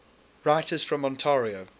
writers from ontario